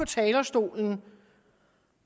talerstolen